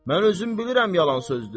Mən özüm bilirəm yalan sözdür.